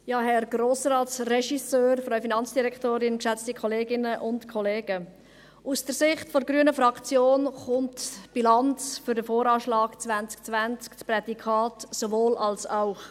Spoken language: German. Herr Grossrats-Regisseur, Frau Finanzdirektorin, Kolleginnen und Kollegen, aus der Sicht der grünen Fraktion erhält die Bilanz für den VA 2020 das Prädikat «sowohl als auch».